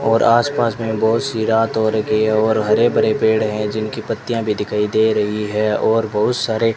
और आस पास में बहुत सी रात हो रखी है और हरे भरे पेड़ हैं जिनकी पत्तियां भी दिखाई दे रही है और बहुत सारे --